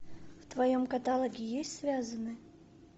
в твоем каталоге есть связанны